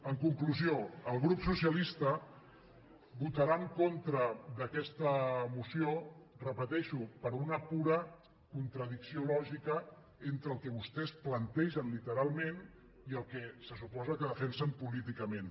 en conclusió el grup socialista votarà en contra d’aquesta moció ho repeteixo per una pura contradicció lògica entre el que vostès plantegen literalment i el que se suposa que defensen políticament